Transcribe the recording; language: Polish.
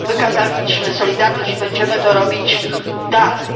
Wykazaliśmy solidarność i będziemy to robić dalej.